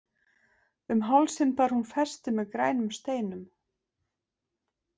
Um hálsinn bar hún festi með grænum steinum.